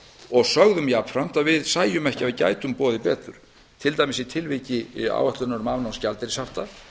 og sögðum jafnframt að við sæjum ekki að við gætum boðið betur til dæmis í tilviki áætlunar um afnám gjaldeyrishafta